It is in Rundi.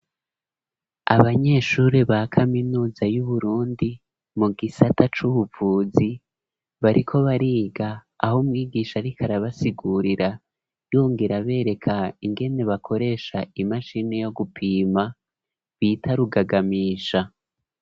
Abanyeshure ba kaminuza, y'Uburundi, mu gisata c'ubuvuzi, bariko bariga; aho umwigisha, ariko arabasigurira, yongera abereka, ingene bakoresha, imashini yo gupima, bita rugagamisha.